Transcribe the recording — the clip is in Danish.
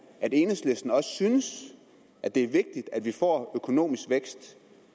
enhedslisten også synes at det at vi får økonomisk vækst